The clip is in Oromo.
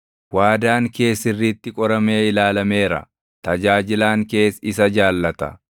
Waadaan kee sirriitti qoramee ilaalameera; tajaajilaan kees isa jaallata.